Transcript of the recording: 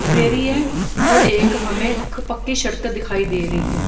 दे रही है और एक हमें पक्की सड़क दिखाई दे रही है।